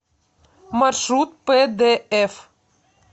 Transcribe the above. маршрут пдф